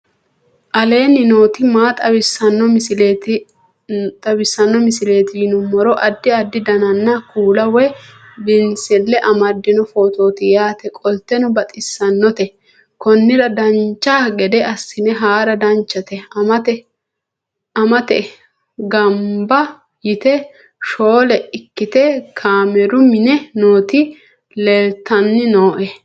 aleenni nooti maa xawisanno misileeti yinummoro addi addi dananna kuula woy biinsille amaddino footooti yaate qoltenno baxissannote konnira dancha gede assine haara danchate maate gamba yite shoole ikkite kaameru mine nooti leeltanni nooe